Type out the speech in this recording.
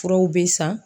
Furaw bɛ san